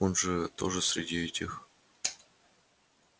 так он же тоже среди этих